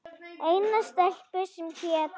Eina stelpu, sem hét